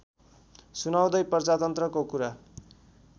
सुनाउँदै प्रजातन्त्रको कुरा